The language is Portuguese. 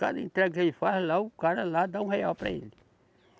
Cada entrega que ele faz lá, o cara lá dá um real para ele.